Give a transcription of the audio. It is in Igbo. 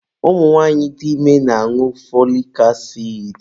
Ụmụ nwanyị dị ime na-añụ fọlik asidi.